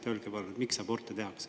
Öelge palun, miks aborte tehakse.